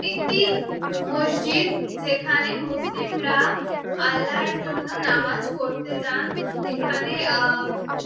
এটি একটি মসজিদ যেখানে মুসলিমরা আল্লার জন্য নামাজ পড়তে যান এখানে আ উম--